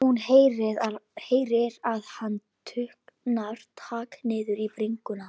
Hún heyrir að hann tuldrar takk niður í bringuna.